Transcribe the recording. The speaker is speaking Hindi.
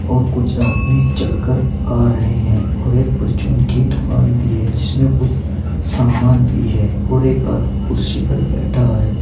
और कुछ आदमी चलकर आ रहे हैं और एक परचून की दुकान भी है जिसमें कुछ सामान भी है और एक आदमी कुर्सी पर बैठा है।